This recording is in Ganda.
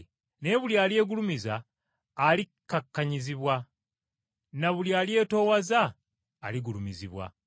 Naye buli alyegulumiza alikkakkanyizibwa, na buli alyetoowaza aligulumizibwa.